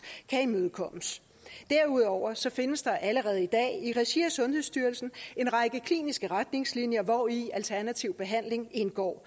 kan imødekommes derudover findes der allerede i dag i regi af sundhedsstyrelsen en række kliniske retningslinjer hvori alternativ behandling indgår